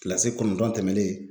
Kilasi kɔnɔndɔn tɛmɛlen